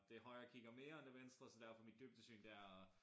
Det højre kigger mere og det venstre sådan der for mit dybdesyn det er